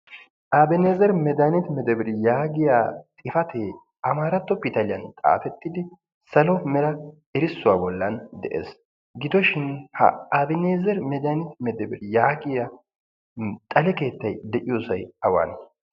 abeneezer medaaniti medaberi yaagiya xifatee amaaratto pitaliyan xaatettidi salo mera erissuwaa bollan de'ees gidooshin ha abaneezeri medaniti medaberi yaagiya xale keettay de7iyoosay awaane